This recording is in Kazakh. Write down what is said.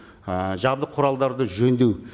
і жабдық құралдарды жөндеу